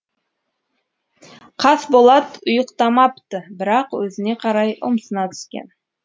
қасболат ұйықтамапты бірақ өзіне қарай ұмсына түскен